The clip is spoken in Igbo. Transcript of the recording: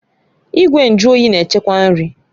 Igwe nju oyi na-echekwa nri